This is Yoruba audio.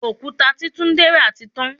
Òkúta tí túndé ra tí tán.